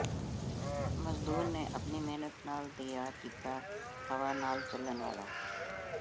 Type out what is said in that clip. ਮਜ਼ਦੂਰ ਨੇ ਆਪਣੀ ਮਿਹਨਤ ਨਾਲ ਤਿਆਰ ਕੀਤਾ ਹਵਾ ਨਾਲ ਚੱਲਣ ਵਾਲਾ